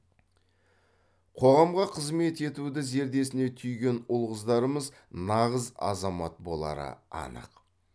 қоғамға қызмет етуді зердесіне түйген ұл қыздарымыз нағыз азамат болары анық